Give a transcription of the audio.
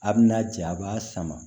A bina ja a b'a sama